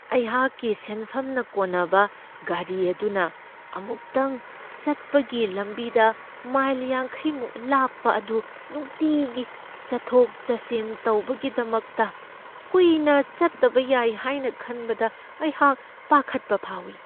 ꯑꯩꯍꯥꯛꯀꯤ ꯁꯦꯟꯐꯝꯅ ꯀꯣꯟꯅꯕ ꯒꯥꯔꯤ ꯑꯗꯨꯅ ꯑꯃꯨꯛꯇꯪ ꯆꯠꯄꯒꯤ ꯂꯝꯕꯤꯗ ꯃꯥꯏꯜ ꯌꯥꯡꯈꯩꯃꯨꯛ ꯂꯥꯞꯄ ꯑꯗꯨ ꯅꯨꯡꯇꯤꯒꯤ ꯆꯠꯊꯣꯛ ꯆꯠꯁꯤꯟ ꯇꯧꯕꯒꯤꯗꯃꯛꯇ ꯀꯨꯏꯅ ꯆꯠꯇꯕ ꯌꯥꯏ ꯍꯥꯏꯅ ꯈꯟꯕꯗ ꯑꯩꯍꯥꯛ ꯄꯥꯈꯠꯄ ꯐꯥꯎꯢ꯫